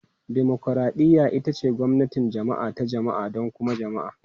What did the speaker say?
Dimokuraɗiyya ita ce gwamnatin jama'a ta jama'a don kuma jama'a.